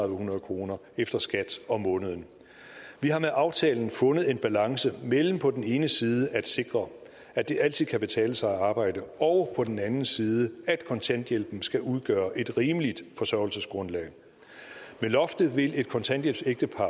hundrede kroner efter skat om måneden vi har med aftalen fundet en balance mellem på den ene side at sikre at det altid kan betale sig at arbejde og på den anden side at kontanthjælpen skal udgøre et rimeligt forsørgelsesgrundlag med loftet vil et kontanthjælpsægtepar